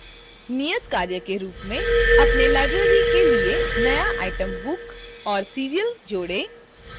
नियतकार्य के रूप में अपने library के लिए एक नया item book और serial जोड़ें